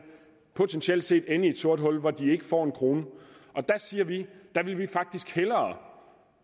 potentielt set ende i et sort hul hvor de ikke får en krone der siger vi at vi faktisk hellere